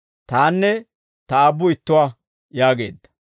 Tanne Ta Aabbu ittuwaa» yaageedda.